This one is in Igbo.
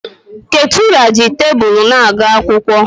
Ketura ji tebụl na-agụ akwụkwọ.